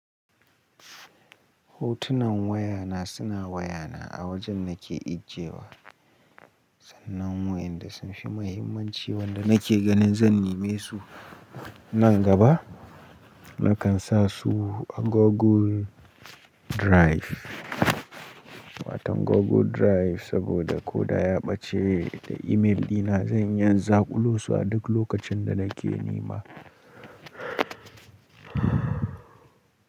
Hotunan wayana suna wayana a wajen nake ajiyewa. Sannan waƴanda sunfi muhimmanci wanda nake ganin zan nime su nan gaba, nakan sasu a Google Drive. Watan Google Drive saboda koda ya ɓace da imel dina, zan iya zaɓulo su a duk lokacin da nake nema.